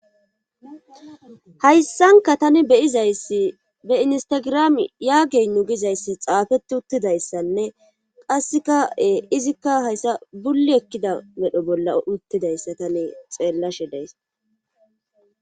hayssanka tani beyizayssi be instagirami yaageyn nu gizayssi xaafeti uttidayssanne qasseka7e izikka hayssa bulli ekkida medho bolla uttidayssa tani xeellashe deys